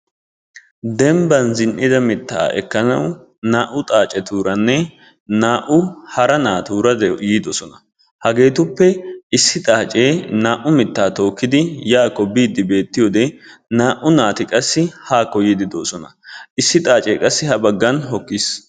Dembban zinn'ida mittaa ekkanawu naa'u xaacetuuranne naa'u hara naatuura de'oosona. Etuppe issi xaacee naa'u mittaa tookkidi yaakko biiddi beettiyode naa'u naati qassi haakko yiiddi doosona. Issi xaacee ha baggan hokkis.